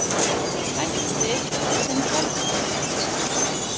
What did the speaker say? Hættir sem gjaldkeri